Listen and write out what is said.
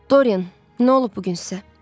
Dorian, nə olub bu gün sizə?